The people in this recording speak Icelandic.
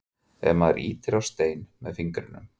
ef maður ýtir á stein með fingrinum